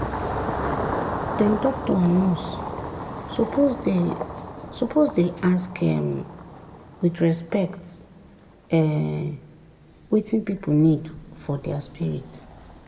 dem doctor and nurse suppose dey suppose dey ask um with respect um wetin pipu need for dia spirit.